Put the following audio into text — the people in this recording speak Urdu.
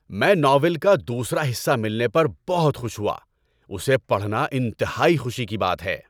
میں ناول کا دوسرا حصہ ملنے پر بہت خوش ہوا۔ اسے پڑھنا انتہائی خوشی کی بات ہے۔